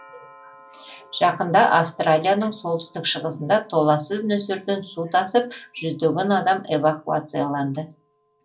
жақында австралияның солтүстік шығысында толлассыз нөсерден су тасып жүздеген адам эвакуацияланды